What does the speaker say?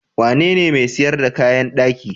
Wanene mai sayar da kayan daki?